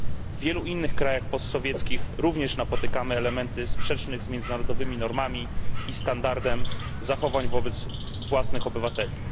W wielu innych krajach post sowieckich również napotykamy elementy sprzeczne z międzynarodowymi normami i standardem zachowań wobec własnych obywateli.